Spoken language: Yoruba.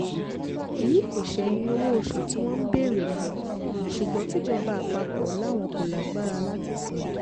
èyí kò ṣẹ̀yìn owó oṣù tí wọ́n ń béèrè fún ṣùgbọ́n tìjọba àpapọ̀ làwọn kò lágbára láti san